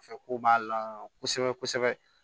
Fɛ ko b'a la kosɛbɛ kosɛbɛ